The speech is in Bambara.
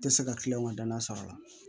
Tɛ se ka kiliyan ka danaya sɔrɔ a la